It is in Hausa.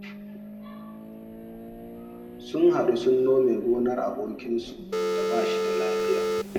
Sun haɗu sun nome gonar abokinsu da ba shi da lafiya